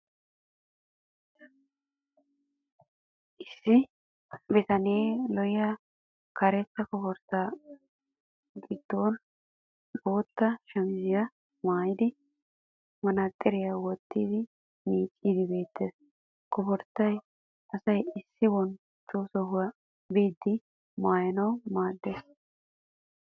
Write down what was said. Issi bitanee lo'iya karetta koforttaa giddoosa bootta shamisiya maayidi manaaxiriya wottidi miicciiddi beettes. Koforttay asay issi bonchcho sohuwaa biiddi maayanwu maaddes.